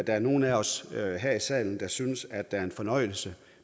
nogen af os her i salen der synes at det er en fornøjelse